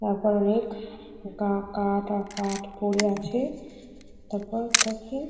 তারপর অনেক গা কাঠ আর কাঠ পড়ে আছে। তারপর ওটা কি?